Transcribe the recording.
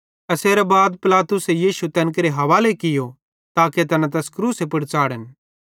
एसेरां बाद पिलातुसे यीशु तैन केरे हवाले कियो ताके तैना तैस क्रूसे पुड़ च़ाढ़न